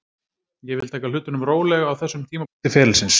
Ég vil taka hlutunum rólega á þessum tímapunkti ferilsins.